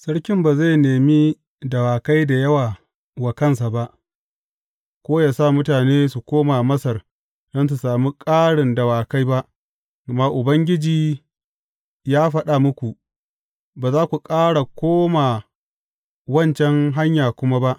Sarkin, ba zai nemi dawakai da yawa wa kansa ba, ko yă sa mutane su koma Masar don su sami ƙarin dawakai ba, gama Ubangiji ya faɗa muku, Ba za ku ƙara koma wancan hanya kuma ba.